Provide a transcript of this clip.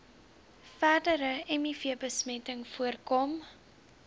verdere mivbesmetting voorkom